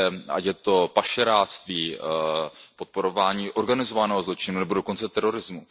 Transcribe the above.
Ať je to pašeráctví, podporování organizovaného zločinu nebo dokonce terorizmu.